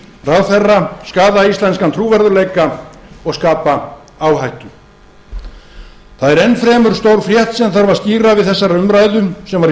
ráðherra skaða íslenskan trúverðugleika og skapa áhættu það er enn fremur stór frétt sem þarf að skýra við þessa umræðu sem var í